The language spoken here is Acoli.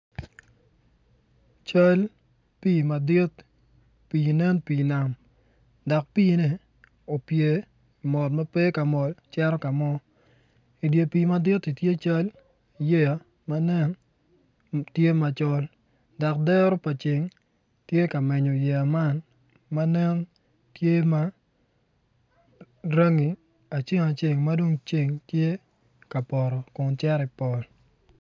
Cal pii madit pii nen pii nam dok piine opye mot ma pe ka mol cito ka mo i dye pii maditi tye cal yeya ma nen tye macol dok dero pa ceng tye ka menyo yeya man ma nen tye aceng aceng ma dong ceng tye ka poto Kun cero i pol